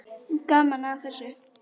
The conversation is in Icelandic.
Gaman að þessu.